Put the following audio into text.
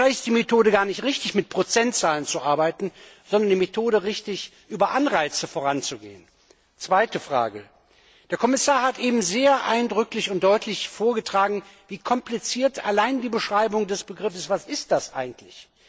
Vielleicht ist die Methode gar nicht richtig, mit Prozentzahlen zu arbeiten, sondern die Methode, über Anreize voranzugehen. Zweite Frage Der Kommissar hat eben sehr eindrücklich und deutlich vorgetragen, wie kompliziert allein die Beschreibung des Begriffes Energieeffizienz ist, was ist das eigentlich?